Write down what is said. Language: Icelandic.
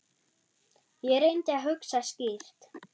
Ég reyndi að hugsa skýrt.